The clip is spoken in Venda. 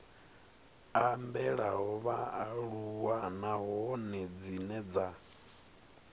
ambelaho vhaaluwa nahone dzine dza